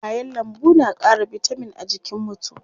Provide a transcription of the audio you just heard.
Kayan lambu na ƙara bitamin a jikin mutu.